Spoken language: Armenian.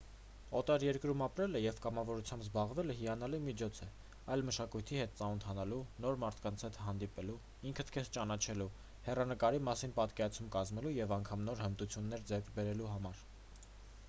օտար երկրում ապրելը և կամավորությամբ զբաղվելը հիանալի միջոց է այլ մշակույթի հետ ծանոթանալու նոր մարդկանց հանդիպելու ինքդ քեզ ճանաչելու հեռանկարի մասին պատկերացում կազմելու և անգամ նոր հմտություններ ձեռք բերելու համար